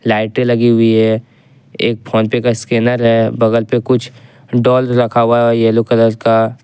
लाइटें लगी हुई है एक फोनपे का स्कैनर है बगल पे कुछ डाल रखा हुआ है येलो कलर का।